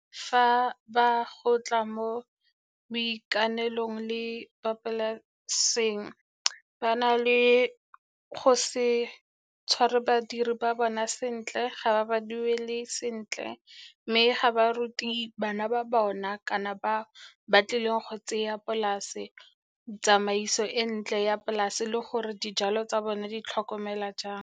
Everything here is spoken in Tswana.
Fa ba go tla mo boikanelong le ba polaseng ba na le go se tshware badiri ba bona sentle, ga ba ba duele sentle mme ga ba ruti bana ba bona kana ba ba tlileng go tseya polase tsamaiso e ntle ya polase le gore dijalo tsa bone di tlhokomelwa jang.